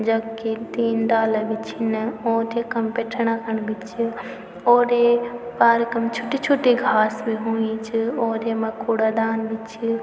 जख ये तीन डाला भी छिन ओंत यखम बिठना खण भी च और ये पार्क म छुट्टी छुट्टी घास भी हुयीं च और यमा कूड़ादान भी च।